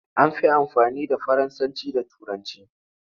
An fi amfani da Faransanci da Turanci.